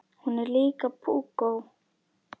Hún er líka púkó.